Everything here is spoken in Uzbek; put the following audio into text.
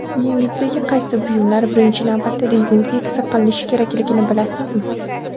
Uyingizdagi qaysi buyumlar birinchi navbatda dezinfeksiya qilinishi kerakligini bilasizmi?.